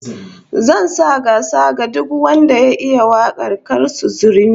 Zan sanya kyauta duk wanda ya iya wakar Kassu Zurmi